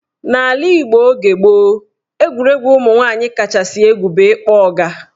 N'ala Igbo oge gboo, egwuregwu ụmụnwaanyị kachasị egwu bụ ịkpọ ọga.